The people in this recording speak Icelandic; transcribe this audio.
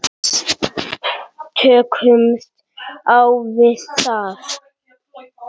Tökumst á við það.